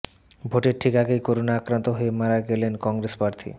ভোটের ঠিক আগেই করোনা আক্রান্ত হয়ে মারা গেলেন কংগ্রেস প্রার্থী